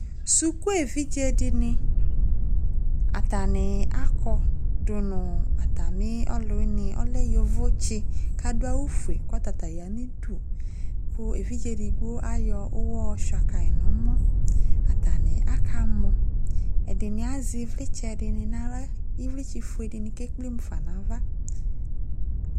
suku ɛvidzedini ɑkani ɑkɔ dunu ɑtamioluwini ɔleyovotsi kaduayu fue ku ɔtata yanudu ku ɛvidzedigbo ɑyɔuwɔ yohuakayi nuomo ɑtani akamɔ ɛdini aze ivlitse dini nayla ivlitse fuedini kekplemufanava